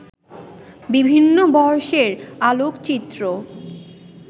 বিভিন্ন বয়সের আলোকচিত্র